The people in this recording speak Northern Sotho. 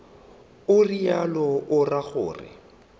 o realo o ra gore